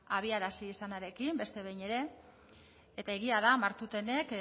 abiarazi izanarekin beste behin ere eta egia da martutenek